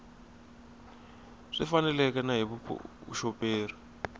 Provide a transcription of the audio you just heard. swi faneleke na hi vuxoperi